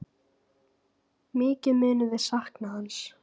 Mikið munum við sakna hans.